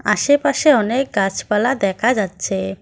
আশেপাশে অনেক গাছপালা দেখা যাচ্ছে।